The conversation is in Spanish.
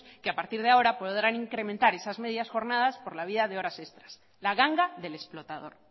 que a partir de ahora podrán incrementar esas medias jornadas por la vía de horas extras la ganga del explotador